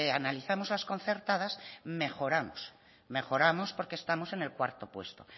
analizamos las concertadas mejoramos porque estamos en el cuarto puesto